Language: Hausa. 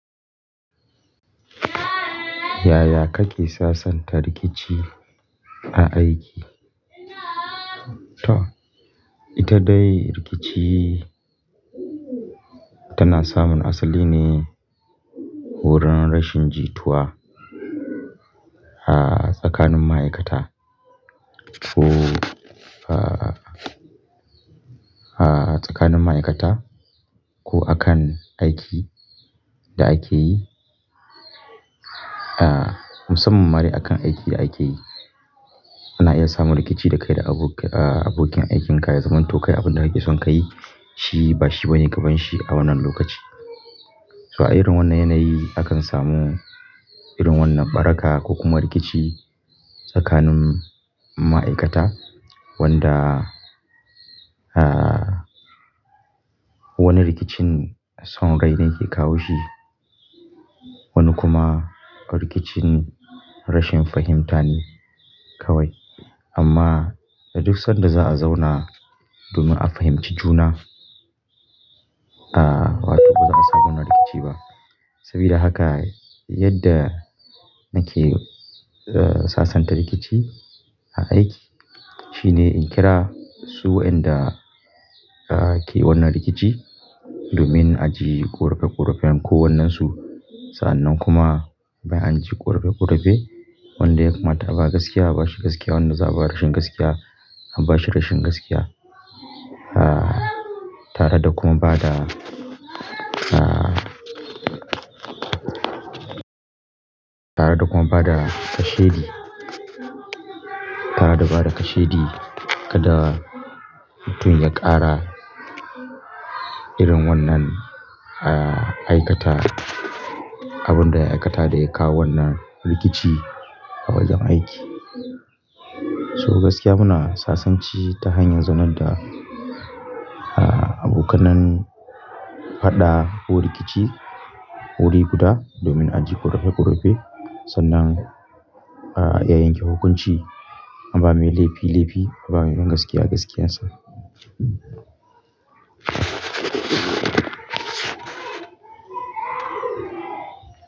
Yaya kake sasanta rikici a aiki? To, ita dai rikici tana samun asali ne wurin rashin jituwa a tsakanin ma'aikata ko a tsakanin ma'aikata ko akan aiki da ake yi. Ah, musamman ma dai akan aikin da ake yi. Ana iya samun rikici da kai da abokin aikin ka ya zaman to kai abin da kake son ka yi shi ba shi bane gabanshi a wannan lokaci. So a irin wannan yanayi akan samu irin wannan baraka ko kuma rikici tsakanin ma'aikata wanda ah wani rikicin son rai ne yake kawo shi. Wani kuma rikicin rashin fahimta ne kawai. Amma da duk sanda za'a zauna domin a fahimci juna, a batu baza a samu na rikici ba. Sabida haka yadda nake sasanta rikici a aiki shine in kira su inda ake wannan rikici domin a ji korafe korafen ko wannan su. Sannan kuma bayan an ji korafe korafe, wanda ya kamata a ba gaskiya a bashi gaskiya, wanda za'a ba rashin gaskiya an bashi rashin gaskiya. Tare da kuma bada tare da kuma bada kashedi tare da bada kashedi kada mutum ya ƙara irin wannan aikata abun da ya aikata da ya kawo wannan rikici a wajen aiki. So gaskiya muna sasanci ta hanyar zaunar da abokanan faɗa ko rikici wuriguda domin a je korafe korafe sannan a yanke hukunci an ba mai laifi laifi an ba mai gaskiya gaskiyarsa.